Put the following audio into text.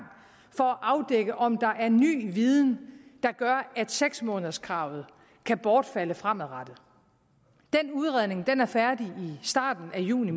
for at afdække om der er ny viden der gør at seks månederskravet kan bortfalde fremadrettet den udredning er færdig i starten af juni